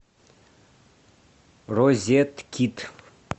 розеткид